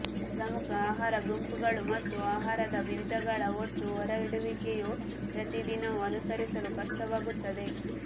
ಪ್ರಮುಖ ಆಹಾರ ಗುಂಪುಗಳು ಮತ್ತು ಆಹಾರದ ವಿಧಗಳ ಒಟ್ಟು ಹೊರಗಿಡುವಿಕೆಯು ಪ್ರತಿದಿನವೂ ಅನುಸರಿಸಲು ಕಷ್ಟವಾಗುತ್ತದೆ